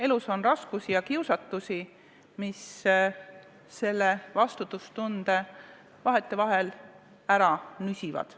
Elus on raskusi ja kiusatusi, mis vastutustunde vahetevahel ära nüsivad.